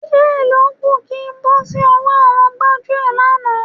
Díẹ̀ ló kù kí n bọ́ sí ọwọ́ àwọn gbájúẹ̀ lánàá.